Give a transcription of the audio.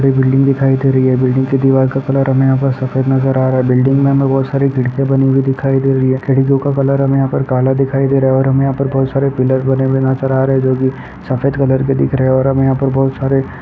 एक बिल्डिंग दिखाई दे रही है। बिल्डिंग का दीवार का कलर हमें यहाँं पर सफ़ेद नजर आ रहा है। बिल्डिंग में हमें बहुत सारी खिड़कियां बनी हुई दिखाई दे रही है। खिड़कियों का कलर हमें काला दिखाई दे रहा है और हमें बहुत सारे पिलर बने हुए नजर आ रहे जो कि सफेद कलर कि दिख रहे है और हमें यहाँं पर बहुत सारे --